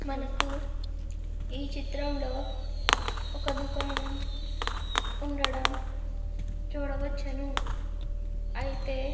మనకు ఈ చిత్రంలో ఒక దుకాణం ఉండడం చూడవచ్చును. అయితే --